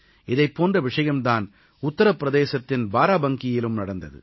இதைப் போன்ற விஷயம் தான் உத்திர பிரதேசத்தின் பாராபங்கீயிலும் நடந்தது